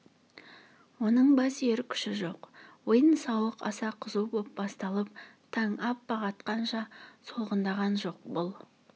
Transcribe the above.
оның бас иер күші жоқ ойын-сауық аса қызу боп басталып таң аппақ атқанша солғындаған жоқ бұл